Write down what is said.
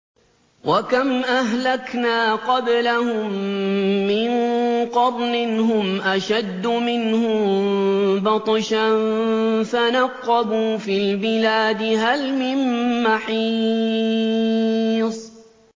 وَكَمْ أَهْلَكْنَا قَبْلَهُم مِّن قَرْنٍ هُمْ أَشَدُّ مِنْهُم بَطْشًا فَنَقَّبُوا فِي الْبِلَادِ هَلْ مِن مَّحِيصٍ